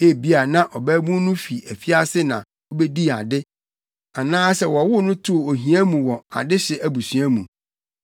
Ebia na ɔbabun no fi afiase na obedii ade anaasɛ wɔwoo no too ohia mu wɔ adehye abusua mu.